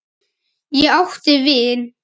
Ég átti vin.